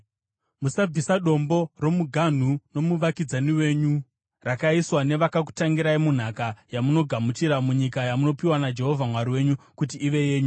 Musabvisa dombo romuganhu nomuvakidzani wenyu, rakaiswa nevakakutangirai munhaka yamunogamuchira munyika yamunopiwa naJehovha Mwari wenyu kuti ive yenyu.